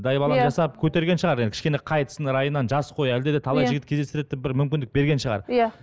дайбалаң жасап көтерген шығар енді кішкене қайтсын райынан жас қой әлде де талай жігіт кездестіреді деп бір мүмкіндік берген шығар иә